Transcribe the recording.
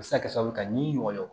A bɛ se ka kɛ sababu ye ka ni ɲɔgɔn ye